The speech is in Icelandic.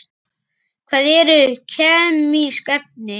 Hvað eru kemísk efni?